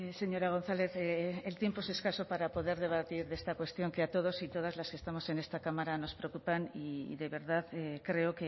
señora gonzález el tiempo es escaso para poder debatir de esta cuestión que a todos y todas las que estamos en esta cámara nos preocupan y de verdad creo